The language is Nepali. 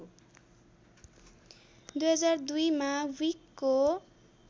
२००२ मा ब्युइकको